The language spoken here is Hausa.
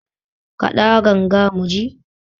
Kaɗa ganga mu ji